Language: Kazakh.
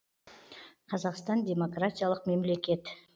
қазақстан демократиялық мемлекет